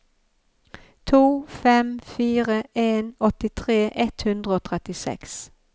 to fem fire en åttitre ett hundre og trettiseks